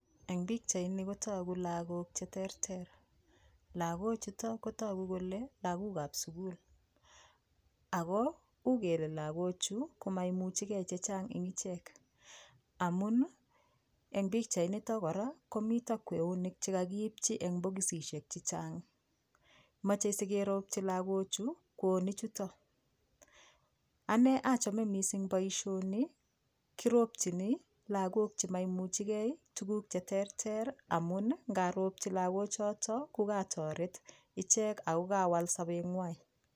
Eng pichaini kotogu lagok che terter. Lagochutok kotogu kele lagokab sukul. Ako ugele lagochu komaimuchikei chechang eng ichek. Amun eng pichainitak kora komi kweonik cekakiipchi eng bokisisiek chechang. Mochei sikeropchi lagochu kewonichutok . Ane achome mising boishoni kiropchini lagok tukuk che terter amun ngaropchi lagochotok ko katoret lagochu ako kawal sobeng'wa.i